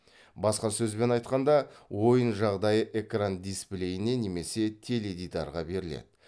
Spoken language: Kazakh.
басқа сөзбен айтқанда ойын жағдайы экран дисплейіне немесе теледидарға беріледі